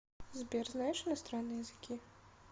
сбер знаешь иностранные языки